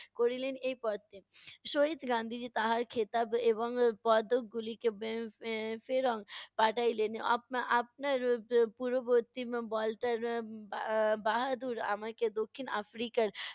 করিলেন এই পথে। শহিদ গান্ধিজী তাহার খেতাব এবং পদকগুলিকে এর ফে~ এর ফেরত পাঠাইলেন। আপনার উম পূর্ববর্তি বাহাদুর আমাকে দক্ষিণ আফ্রিকার